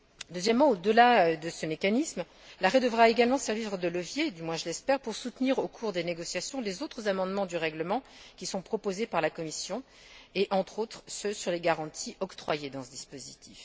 Deuxièmement, au delà de ce mécanisme, l'arrêt devra également servir de levier, du moins je l'espère, pour soutenir, au cours des négociations, les autres amendements du règlement qui sont proposés par la Commission et, entre autres, ceux sur les garanties octroyées dans ce dispositif.